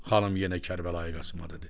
Xanım yenə Kərbəlayı Qasım dedi.